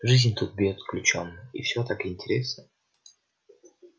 жизнь тут бьёт ключом и всё так интересно